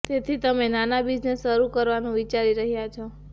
તેથી તમે નાના બિઝનેસ શરૂ કરવાનું વિચારી રહ્યાં છો